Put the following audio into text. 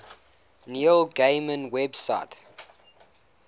neil gaiman website